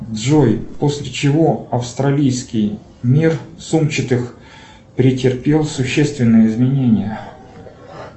джой после чего австралийский мир сумчатых претерпел существенные изменения